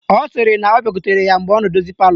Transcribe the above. Ọ sịrị na ọ bịakwutere ya mgbe ọ na-edozi palọ